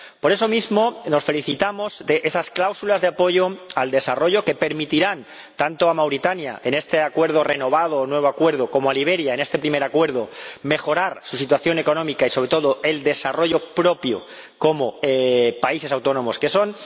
Por eso mismo, nos felicitamos de esas cláusulas de apoyo al desarrollo que permitirán, tanto a Mauritania en este acuerdo renovado o nuevo acuerdo, como a Liberia en este primer acuerdo, mejorar su situación económica y, sobre todo, el desarrollo propio como países autónomos que son.